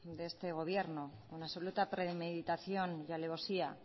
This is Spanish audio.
de este gobierno con absoluta premeditación y alevosía